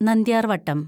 നന്ദ്യാര്‍വട്ടം